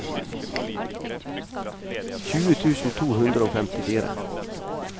tjue tusen to hundre og femtifire